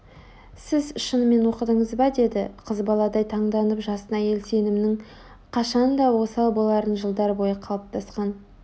сіз шынымен оқыдыңыз ба деді қыз баладай таңданып жасын әйел сенімінің қашан да осал боларын жылдар бойы қалыптасқан